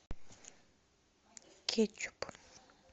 кетчуп